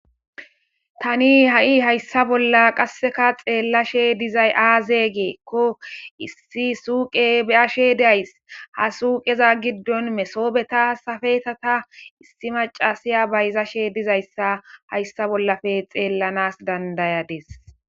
tani ha7i hayssa bolla qasseka xeellashe dizay aaze giikko issi suupe beyashe days ha suuqeza giddon mesoobeta safetata issi macasiya bayzashe dizayssa hayssa bollafe xeellanas dandayades